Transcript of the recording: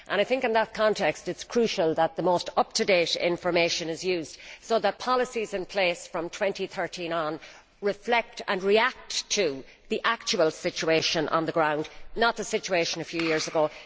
In that context it is crucial that the most up to date information is used so that policies in place from 2013 onwards reflect and react to the actual situation on the ground, not the situation of a few years ago.